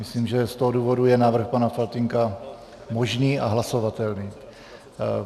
Myslím, že z toho důvodu je návrh pana Faltýnka možný a hlasovatelný.